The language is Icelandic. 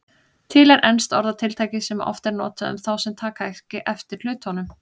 Til er enskt orðatiltæki sem oft er notað um þá sem taka ekki eftir hlutunum.